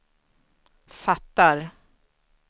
fattar